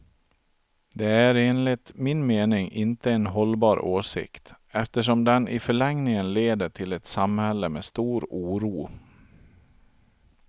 Det är enligt min mening inte en hållbar åsikt, eftersom den i förlängningen leder till ett samhälle med stor oro.